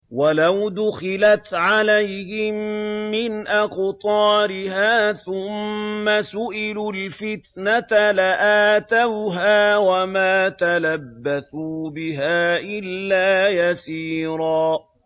وَلَوْ دُخِلَتْ عَلَيْهِم مِّنْ أَقْطَارِهَا ثُمَّ سُئِلُوا الْفِتْنَةَ لَآتَوْهَا وَمَا تَلَبَّثُوا بِهَا إِلَّا يَسِيرًا